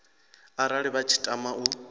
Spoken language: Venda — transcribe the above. arali vha tshi tama u